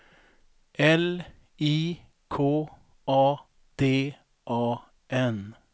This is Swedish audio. L I K A D A N